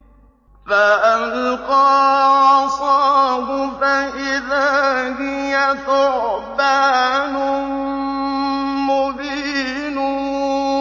فَأَلْقَىٰ عَصَاهُ فَإِذَا هِيَ ثُعْبَانٌ مُّبِينٌ